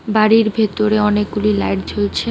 বাড়ির ভেতরে অনেকগুলি লাইট জ্বলছে।